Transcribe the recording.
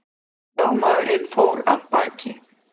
Lögmaðurinn fór af baki.